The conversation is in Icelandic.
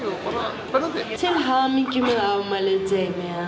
bara spennandi til hamingju með afmælið